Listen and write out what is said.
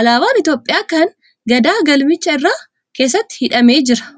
Alaabaan Itiyoophiyaa kan Gadaa galmicha irra keessatti hidhamee jira.